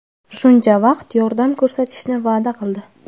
shuncha vaqt yordam ko‘rsatishni va’da qildi.